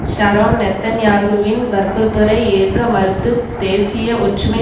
Sharon நெத்தன்யாகுவின் வற்புறுத்தலை ஏற்க மறுத்து தேசிய ஒற்றமை